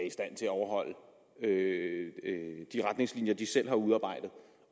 i stand til at overholde de retningslinjer de selv har udarbejdet